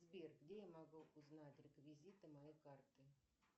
сбер где я могу узнать реквизиты моей карты